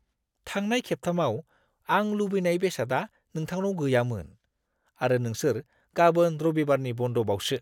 थांनाय खेबथामाव आं लुबैनाय बेसादआ नोंथांनाव गैयामोन आरो नोंसोर गाबोन रबिबारनि बन्द'बावसो!